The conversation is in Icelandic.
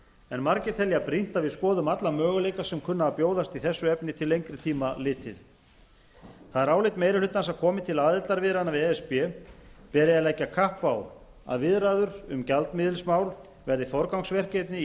en margir telja brýnt að við skoðum alla möguleika sem kunna að bjóðast í þessu efni til lengri tíma litið það er álit meiri hlutans að komi til aðildarviðræðna við e s b beri að leggja kapp á að viðræður um gjaldmiðilsmál verði forgangsverkefni í